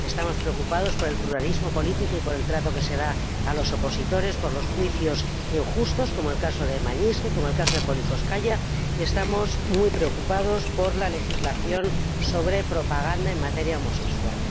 estamos preocupados por el pluralismo político y por el trato que se da a los opositores, y por los juicios injustos, como el caso de Magnitsky o el caso de Politkóvskaya, y estamos muy preocupados por la legislación sobre propaganda en materia homosexual.